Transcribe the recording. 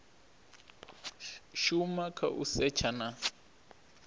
shuma kha u setsha na